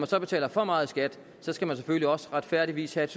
så betaler for meget i skat skal man selvfølgelig også retfærdigvis have